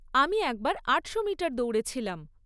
আমি একবার আটশো মিটার দৌড়েছিলাম।